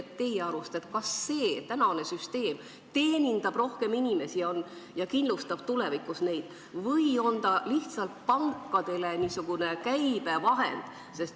Kas teie arust praegune süsteem teenindab rohkem inimesi ja kindlustab neid tulevikus neid või on see lihtsalt pankade käibevahend?